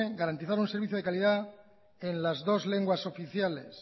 garantizar un servicio de calidad en las dos lenguas oficiales